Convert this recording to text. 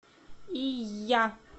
ийя